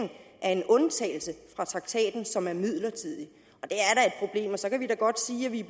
af en undtagelse fra traktaten som er midlertidig og så kan vi da godt sige at vi